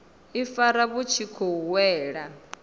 ifara vhu tshi khou wela